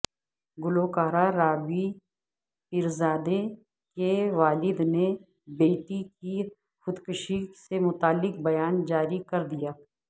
گلوکارہ رابی پیرزادہ کے والدنے بیٹی کی خود کشی سے متعلق بیان جاری کر دیا